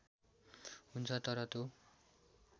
हुन्छ तर त्यो